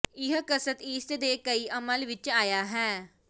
ਇਹ ਕਸਰਤ ਈਸਟ ਦੇ ਕਈ ਅਮਲ ਵਿਚ ਆਇਆ ਹੈ